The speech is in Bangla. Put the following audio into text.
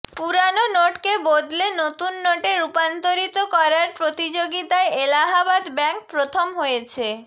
পুরানো নোটকে বদলে নতুন নোটে রূপান্তরিত করার প্রতিযোগিতায় এলাহাবাদ ব্যাংক প্রথম হয়েছে